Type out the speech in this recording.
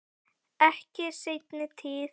Ekki í seinni tíð.